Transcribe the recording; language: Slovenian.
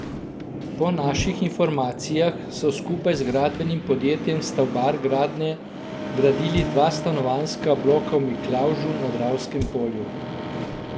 Po naših informacijah so skupaj z gradbenim podjetjem Stavbar Gradnje gradili dva stanovanjska bloka v Miklavžu na Dravskem polju.